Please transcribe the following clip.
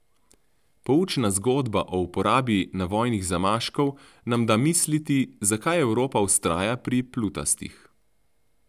Poučna zgodba o uporabi navojnih zamaškov nam da misliti, zakaj Evropa vztraja pri plutastih.